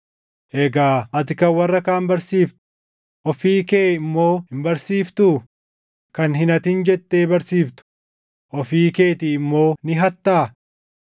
egaa ati kan warra kaan barsiiftu, ofii kee immoo hin barsiiftuu? Kan “Hin hatin” jettee barsiiftu ofii keetii immoo ni hattaa?